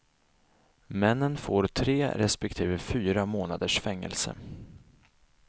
Männen får tre respektive fyra månaders fängelse.